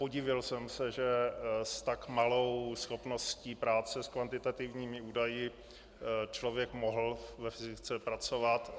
Podivil jsem se, že s tak malou schopností práce s kvantitativními údaji člověk mohl ve fyzice pracovat.